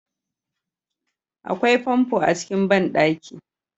Akwai famfo a cikin banɗaki